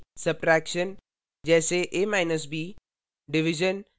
subtraction : जैसे ab